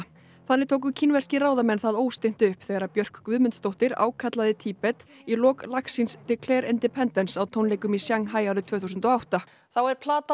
þannig tóku kínverskir ráðamenn það óstinnt upp þegar Björk Guðmundsdóttir ákallaði Tíbet í lok lags síns Declare Independence á tónleikum í Sjanghæ árið tvö þúsund og átta þá er plata